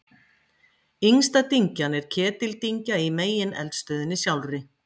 yngsta dyngjan er ketildyngja í megineldstöðinni sjálfri